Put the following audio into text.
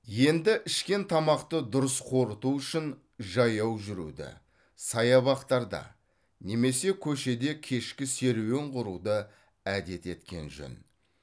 енді ішкен тамақты дұрыс қорыту үшін жаяу жүруді саябақтарда немесе көшеде кешкі серуен құруды әдет еткен жөн